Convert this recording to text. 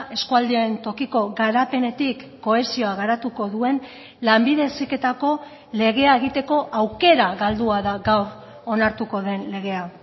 eskualdeen tokiko garapenetik kohesioa garatuko duen lanbide heziketako legea egiteko aukera galdua da gaur onartuko den legea